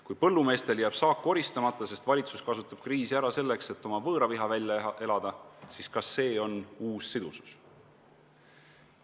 Kui põllumeestel jääb saak koristamata, sest valitsus kasutab kriisi ära selleks, et oma võõraviha välja elada, siis kas see on uus sidusus?